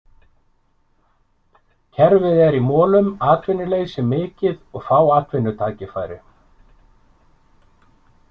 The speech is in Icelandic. Kerfið er í molum, atvinnuleysi mikið og fá atvinnutækifæri.